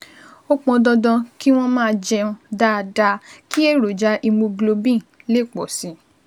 Ó pọn dandan kí wọ́n máa jẹun dáadáa kí èròjà hemoglobin lè pọ̀ sí i